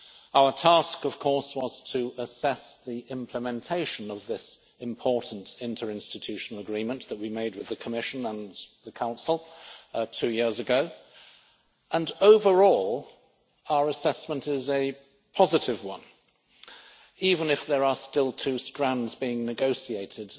Our task, of course, was to assess the implementation of this important interinstitutional agreement that we made with the Commission and the Council two years ago and, overall, our assessment is a positive one, even if there are still two strands being negotiated